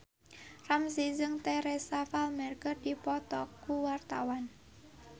Ramzy jeung Teresa Palmer keur dipoto ku wartawan